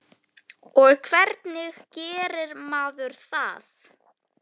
Og hvernig gerir maður það?